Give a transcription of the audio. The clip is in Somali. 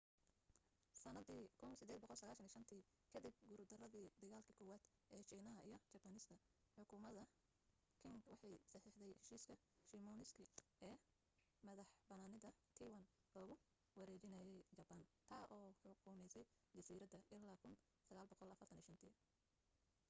sanaddii 1895tii kadib guurdaradii dagaalki koowaad ee shiinaha iyo jabaaniiska xukuumadda qing waxay saxiixday heshiiska shimonoseki ee madaxbanaanida taiwan loogu wareejinayay jabaan taa oo xukumaysay jasiiradda illaa 1945